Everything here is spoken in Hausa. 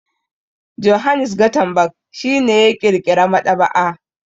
Johannes Gutenberg shi ne ya ƙirƙira maɗaba'a.